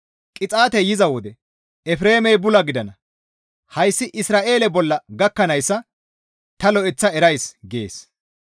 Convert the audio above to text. Qixaatey yiza wode Efreemey bula gidana; hayssi Isra7eele bolla gakkanayssa ta lo7eththa erisays» gees.